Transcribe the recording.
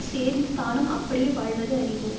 சேர்ந்து தானும் அப்படியே வாழ்வது அறிவு